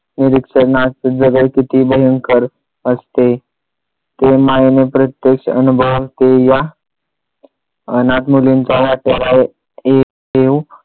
निरीक्षणात जगायची ती भयंकर असते. ते माईने प्रत्यक्ष अनुभवले या अनाथ मुलींच्या वाट्याला ये येऊ